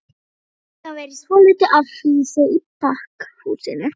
Við fengum að vera í svolitlu afhýsi í pakkhúsinu.